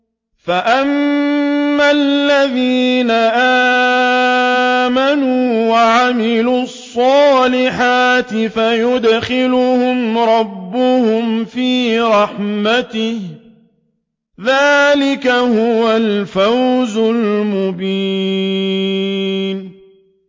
فَأَمَّا الَّذِينَ آمَنُوا وَعَمِلُوا الصَّالِحَاتِ فَيُدْخِلُهُمْ رَبُّهُمْ فِي رَحْمَتِهِ ۚ ذَٰلِكَ هُوَ الْفَوْزُ الْمُبِينُ